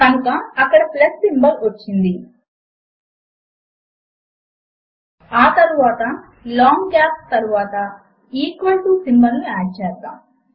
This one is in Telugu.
కనుక అక్కడ ప్లస్ సింబల్ వచ్చింది ఆ తరువాత లాంగ్ గాప్స్ తరువాత ఈక్వల్ టు సింబల్ ను యాడ్ చేద్దాము